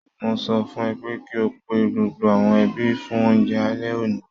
Mo sọ fún ẹ pé kí o pe gbogbo àwọn ẹbí fún oúnjẹ alẹ́ òní